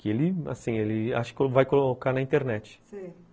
Ele, assim, ele acho que vai colocar na internet, sei.